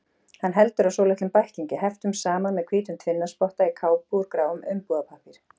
Hann heldur á svolitlum bæklingi, heftum saman með hvítum tvinnaspotta, í kápu úr gráum umbúðapappír.